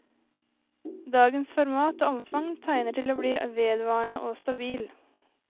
Dagens format og omfang tegner til å bli vedvarende og stabil.